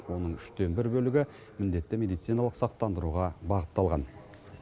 оның үштен бір бөлігі міндетті медициналық сақтандыруға бағытталған